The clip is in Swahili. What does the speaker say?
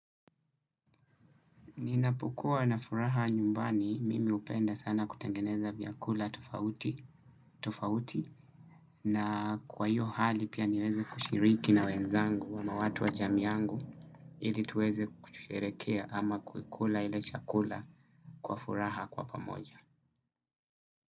Ninapokuwa na furaha nyumbani mimi hupenda sana kutengeneza vyakula tofauti na kwa hiyo hali pia niweze kushiriki na wenzangu ama watu wa jamii yangu ili tuweze kusherekea ama kukula ile chakula kwa furaha kwa pamoja.